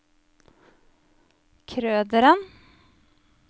Krøderen